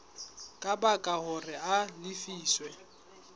ka baka hore a lefiswe